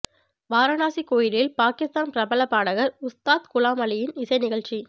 வாரணாசி கோயிலில் பாகிஸ்தானின் பிரபல பாடகர் உஸ்தாத் குலாம் அலியின் இசை நிகழ்ச்சி